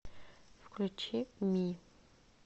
включи ми